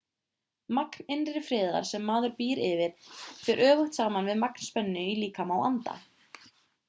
magn innri friðar sem maður býr yfir fer öfugt saman við magn spennu í líkama og anda